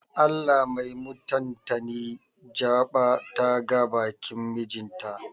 Allah mai mutantani jaɓa ta ga bakin mijin ta.